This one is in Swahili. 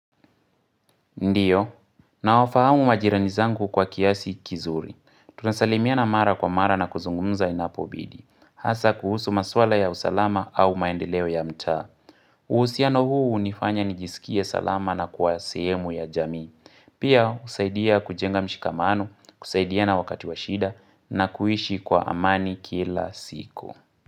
Ndio, nawafahamu majirani zangu kwa kiasi kizuri. Tunasalimiana mara kwa mara na kuzungumza inapobidi. Hasa kuhusu maswala ya usalama au maendeleo ya mta. Uhusiano huu hunifanya nijisikie salama na kwa sehemu ya jamii. Pia husaidia kujenga mshikamano, kusaidiana wakati wa shida na kuishi kwa amani kila siku.